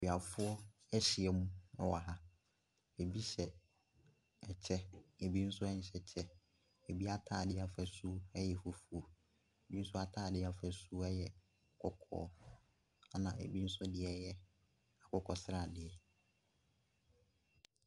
Akuafoɔ ahyiam wɔ ha. Bi hyɛ kyɛ. Bi nso nhyɛ kyɛ. Bi atadeɛ afasuo yɛ fufuo, bi nso atadeɛ afasuo yɛ kɔkɔɔ, ɛna bi nso deɛ yɛ akokɔsradeɛ.